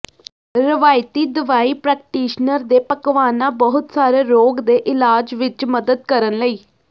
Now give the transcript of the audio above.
ਰਵਾਇਤੀ ਦਵਾਈ ਪ੍ਰੈਕਟੀਸ਼ਨਰ ਦੇ ਪਕਵਾਨਾ ਬਹੁਤ ਸਾਰੇ ਰੋਗ ਦੇ ਇਲਾਜ ਵਿਚ ਮਦਦ ਕਰਨ ਲਈ